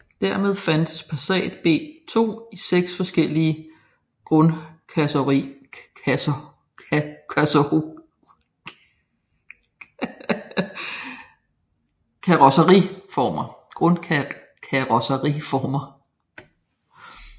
Dermed fandtes Passat B2 i seks forskellige grundkarrosseriformer